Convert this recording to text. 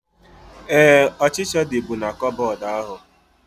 Éè, ọchịchịa dịbu na koboodu ahu